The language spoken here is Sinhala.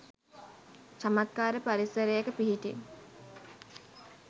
චමත්කාර පරිසරයක පිහිටි